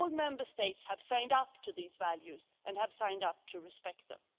All Member States have signed up to these values and have signed up to respect them.